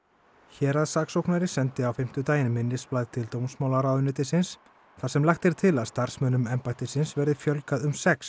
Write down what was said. héraðssaksóknari sendi á fimmtudaginn minnisblað til dómsmálaráðuneytisins þar sem lagt er til að starfsmönnum embættisins verði fjölgað um sex